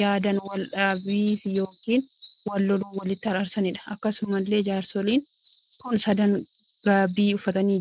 yaadaan wal dhabi ykn yeroo wal loluu walitti araarsaniidha. akkasumallee jaarsoliin kun sadan gaabii uffatanii ulee qabanii dhaabbachaa kan jiraniidha.